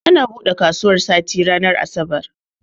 Ana bude kasuwan sati ranar asabar